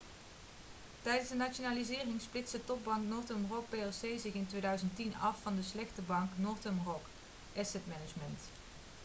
tijdens de nationalisering splitste topbank northern rock plc zich in 2010 af van de 'slechte bank' northern rock asset management